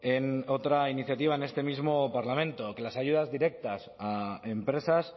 en otra iniciativa en este mismo parlamento que las ayudas directas a empresas